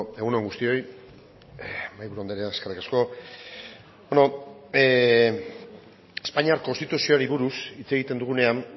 egun on guztioi mahaiburu andrea eskerrik asko espainiar konstituzioari buruz hitz egiten dugunean